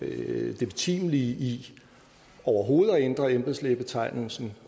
det betimelige i overhovedet at ændre embedslægebetegnelsen